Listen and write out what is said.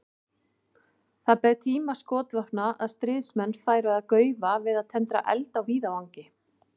Það beið tíma skotvopnanna að stríðsmenn færu að gaufa við að tendra eld á víðavangi.